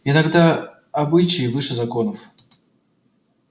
иногда обычаи выше законов